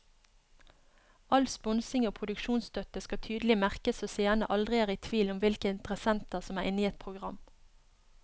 All sponsing og produksjonsstøtte skal tydelig merkes så seerne aldri er i tvil om hvilke interessenter som er inne i et program.